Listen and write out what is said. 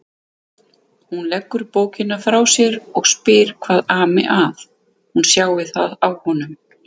Hún leggur bókina frá sér og spyr hvað ami að, hún sjái það á honum.